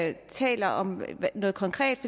ikke taler om noget konkret